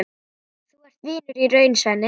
Þú ert vinur í raun, Svenni.